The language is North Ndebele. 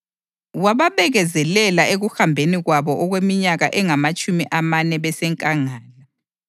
wababekezelela ekuhambeni kwabo okweminyaka engamatshumi amane besenkangala.